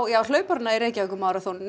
á hlaupara í Reykjavíkurmaraþoninu